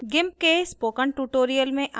gimp के spoken tutorial में आपका स्वागत है